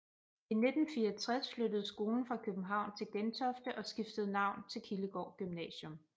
I 1964 flyttede skolen fra København til Gentofte og skiftede navn til Kildegård Gymnasium